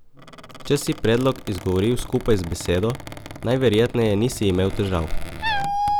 Če si predlog izgovoril skupaj z besedo, najverjetneje nisi imel težav.